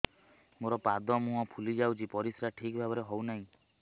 ମୋର ପାଦ ମୁହଁ ଫୁଲି ଯାଉଛି ପରିସ୍ରା ଠିକ୍ ଭାବରେ ହେଉନାହିଁ